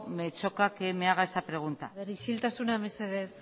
me choca que me haga esa pregunta isiltasuna mesedez